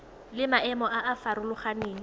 le maemo a a farologaneng